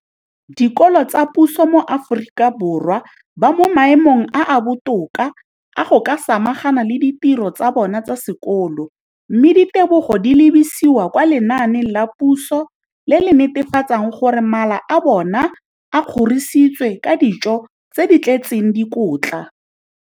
dikolo tsa puso mo Aforika Borwa ba mo maemong a a botoka a go ka samagana le ditiro tsa bona tsa sekolo, mme ditebogo di lebisiwa kwa lenaaneng la puso le le netefatsang gore mala a bona a kgorisitswe ka dijo tse di tletseng dikotla.